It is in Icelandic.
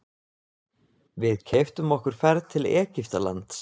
Við keyptum okkur ferð til Egyptalands.